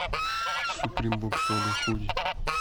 суприм бокс лого худи